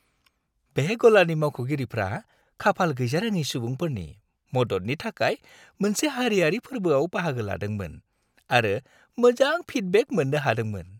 बे गलानि मावख'गिरिफ्रा खाफाल गैजारोङै सुबुंफोरनि मददनि थाखाय मोनसे हारियारि फोर्बोआव बाहागो लादोंमोन आरो मोजां फिडबेक मोननो हादोंमोन।